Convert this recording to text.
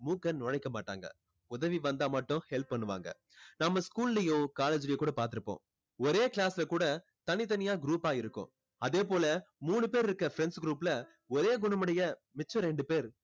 மூக்க நுழைக்க மாட்டாங்க. உதவி வந்தா மட்டும் help பண்ணுவாங்க. நம்ம school லையோ college லையோ கூட பாத்திருப்போம். ஒரே class ல கூட தனித்தனியா group ஆ இருக்கும். அதே போல மூணு பேர் இருக்க friends group ல ஒரே குணம் உடைய மிச்ச ரெண்டு பேர்